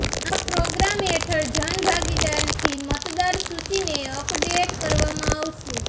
આ પ્રોગ્રામ હેઠળ જન ભાગીદારીથી મતદાર સૂચીને અપડેટ કરવામાં આવશે